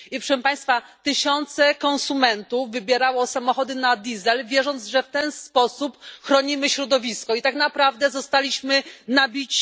Proszę Państwa, tysiące konsumentów wybierało samochody na olej napędowy, wierząc, że w ten sposób chronią środowisko, a tak naprawdę zostali oszukani.